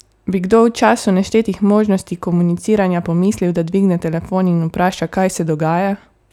Bi kdo v času neštetih možnosti komuniciranja pomislil, da dvigne telefon in vpraša, kaj se dogaja?